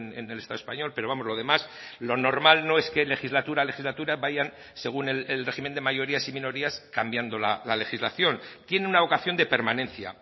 en el estado español pero vamos lo demás lo normal no es que legislatura a legislatura vayan según el régimen de mayorías y minorías cambiando la legislación tiene una vocación de permanencia